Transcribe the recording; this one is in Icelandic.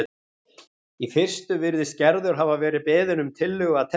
Í fyrstu virðist Gerður hafa verið beðin um tillögu að teppi